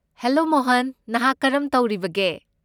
Hello Mohan, ꯅꯍꯥꯛ ꯀꯔꯝ ꯇꯧꯔꯤꯕꯒꯦ?